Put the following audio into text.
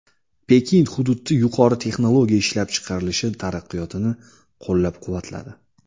Pekin hududda yuqori texnologiya ishlab chiqarilishi taraqqiyotini qo‘llab-quvvatladi.